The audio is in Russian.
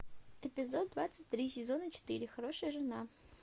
эпизод двадцать три сезона четыре хорошая жена